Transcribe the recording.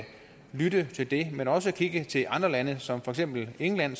lytte til det men også kigge til andre lande som for eksempel england